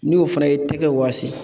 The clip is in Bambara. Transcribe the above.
N'i o fana ye i tɛgɛ wasi